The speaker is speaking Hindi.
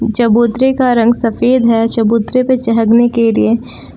चबूतरे का रंग सफेद है चबूतरे पर चहगने के लिए।